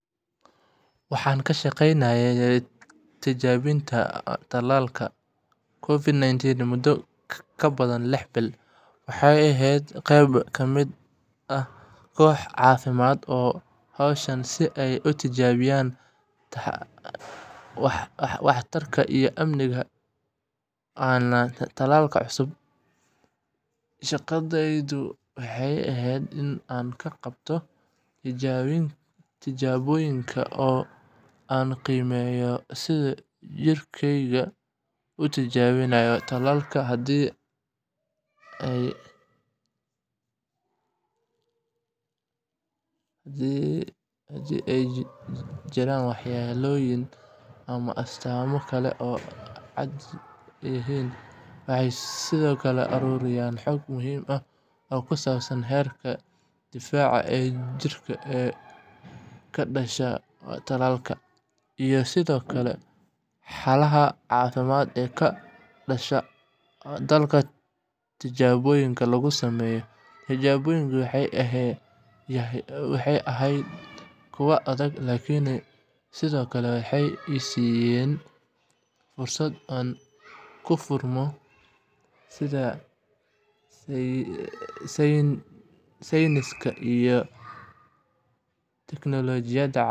Waan ka shaqeynayay tijaabinta talaalka COVID sagal iyo toban muddo ka badan lix bilood, waxaana ahaa qeyb ka mid ah koox caafimaad oo u hawlgashay si ay u tijaabiyaan waxtarka iyo amniga talaalka cusub. Shaqadeydu waxay ahayd in aan ka qaybqaato tijaabooyinka, oo aan qiimeeyo sida jirkeyga u jawaabayo talaalka iyo haddii ay jiraan waxyeellooyin ama astaamo kale oo aan caadi ahayn. Waxaan sidoo kale ururiyay xog muhiim ah oo ku saabsan heerarka difaaca ee jirka ee ka dhasha talaalka, iyo sidoo kale xaaladaha caafimaad ee ka dhashay dadka tijaabooyinka lagu sameeyay. Tijaabooyinku waxay ahayd kuwo adag, laakiin sidoo kale waxay ii siiyeen fursad aan ku fahmo sida sayniska iyo teknolojiyada caafimaad u shaqeeyaan. Waxaan la shaqeynayay dhakhaatiirta.